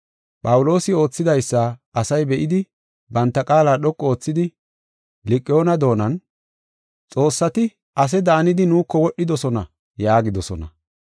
Phawuloosi oothidaysa asay be7idi banta qaala dhoqu oothidi Liqa7oona doonan, “Xoossati ase daanidi nuuko wodhidosona” yaagidosona.